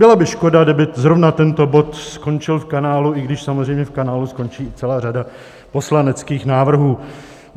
Byla by škoda, kdyby zrovna tento bod skončil v kanálu, i když samozřejmě v kanálu skončí i celá řada poslaneckých návrhů.